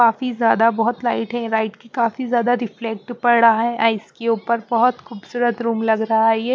काफी ज्यादा बहुत लाइट है राइट की काफी ज्यादा रिफ्लेक्ट पड़ रहा है आइस के ऊपर बहुत खूबसूरत रूम लग रहा है ये --